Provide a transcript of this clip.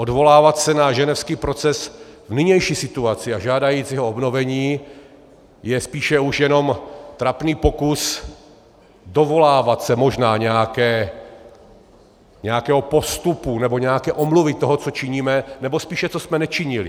Odvolávat se na ženevský proces v nynější situaci a žádat jeho obnovení je spíše už jenom trapný pokus dovolávat se možná nějakého postupu nebo nějaké omluvy toho, co činíme, nebo spíše, co jsme nečinili.